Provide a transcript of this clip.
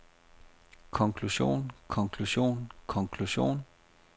konklusion konklusion konklusion